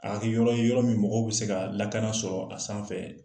A ka kɛ yɔrɔ ye, yɔrɔ min mɔgɔw bɛ se ka lakana sɔrɔ a sanfɛ.